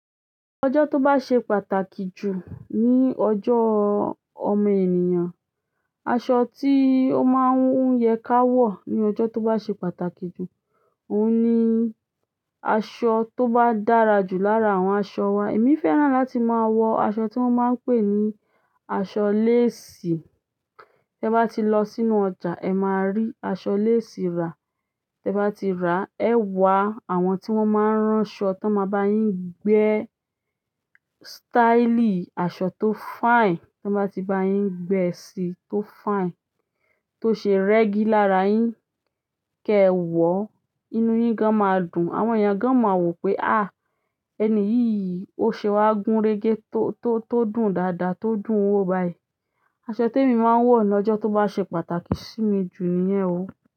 Ọjọ́ tó bá ṣe pàtàkì jù ní ọjọ́ ọmọ ènìyàn, aṣọ tí ó máa ń yẹ ká wọ̀ ní ọjọ́ tó bá ṣe pàtàkì jù, òun ni aṣọ tó bá dára jù lára àwọn aṣọ wa. Emi fẹ́ràn láti maa wo aṣọ ti won n pe ni aṣọ lace. Tẹ bá ti lọ sínú ọjà, ẹ máa rí aṣọ lásìì rà. Tẹ bá ti rà ẹ wá àwọn tí wọ́n máa ń rán aṣọ, tí wọ́n máa bá yín gbé staili aṣọ tó fine. Tí wọ́n bá ti bá yín gbé e sì tó fine, tó ṣe rẹ́gì lára yín, kí ẹ wọ̀, inú yín gan máa dùn. Àwọn èèyàn gan máa wò pé, à ẹni iyii ose wa gun-re-ge, to dùn dáadáa, to dùn wo bayi. Aṣọ tí èmi máa ń wọ̀ ní ọjọ́ tó bá ṣe pàtàkì sí mi jù nìyẹn o.